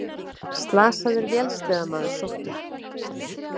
Slasaður vélsleðamaður sóttur